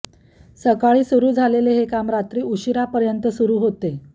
सकाळी सुरू झालेले हे काम रात्री उशिरापर्यंत सुरू होते